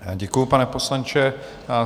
Děkuju, pane poslanče.